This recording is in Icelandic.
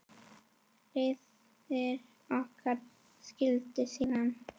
Leiðir okkar skildi síðan.